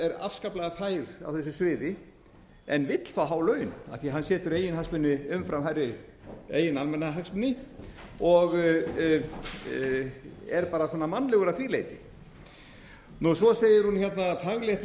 afskaplega fær á þessu sviði en vill fá há laun af því að hann setur eigin hagsmuni umfram hærri eigin almannahagsmuni og er bara mannlegur að því leyti svo segir hún að faglegt